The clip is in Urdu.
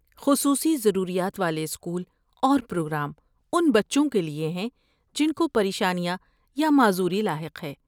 خصوصی ضروریات والے اسکول اور پروگرام ان بچوں کے لیے ہیں جن کو پریشانیاں یا معذوری لاحق ہیں۔